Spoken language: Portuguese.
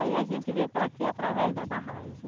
Aí a gente veio para cá através da barragem.